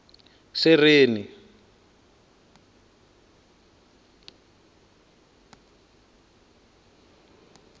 sereni